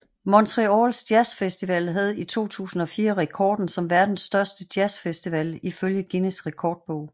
Montreals Jazz Festival havde i 2004 rekorden som verdens største jazz festival ifølge Guinness Rekordbog